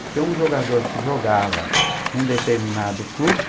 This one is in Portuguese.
Porque um jogador que jogava num determinado clube...